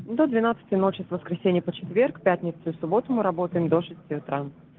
до двенадцати ночи с воскресенья по четверг пятницу субботу мы работаем до шести утра